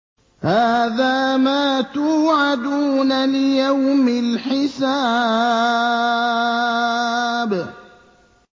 هَٰذَا مَا تُوعَدُونَ لِيَوْمِ الْحِسَابِ